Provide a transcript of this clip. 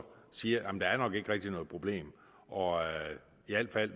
siger at der nok ikke rigtig er noget problem og